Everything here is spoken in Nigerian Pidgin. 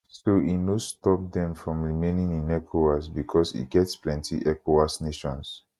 so e no stop dem from remaining in ecowas bicos e get plenty ecowas nations